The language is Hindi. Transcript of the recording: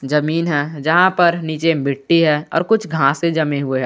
जमीन है जहां पर नीचे मिट्टी है और कुछ घासें जमे हुए है।